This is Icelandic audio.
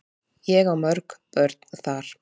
Ég á mörg börn þar.